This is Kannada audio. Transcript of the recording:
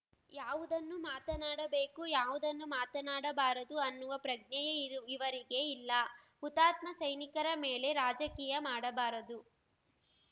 ಯಾವುದನ್ನು ಮಾತನಾಡಬೇಕು ಯಾವುದನ್ನು ಮಾತನಾಡಬಾರದು ಅನ್ನುವ ಪ್ರಜ್ಞೆಯೇ ಇರುವ್ ಇವರಿಗೆ ಇಲ್ಲ ಹುತಾತ್ಮ ಸೈನಿಕರ ಮೇಲೆ ರಾಜಕೀಯ ಮಾಡಬಾರದು